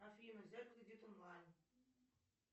афина взять кредит онлайн